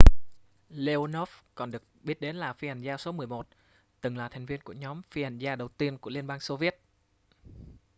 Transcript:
leonov còn được biết đến là phi hành gia số 11 từng là thành viên của nhóm phi hành gia đầu tiên của liên bang xô viết